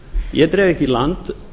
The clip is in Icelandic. ég dreg ekki í land